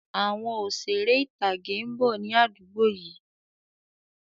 Àwọn Òṣeré ìtàgé ń bọ̀ ni àdúgbò yìí